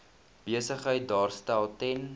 besigheid daarstel ten